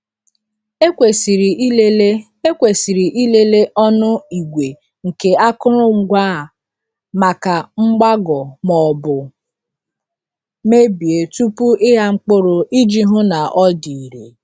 Ekwesịrị ịlele Ekwesịrị ịlele ọnụ igwe nke akụrụngwa a maka mgbagọ maọbụ mebie tupu ịgha mkpụrụ iji hụ na ọ dị irè.